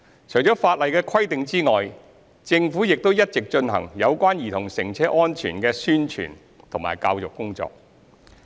除法例的規定之外，政府亦一直進行有關兒童乘車安全的宣傳和教育工作。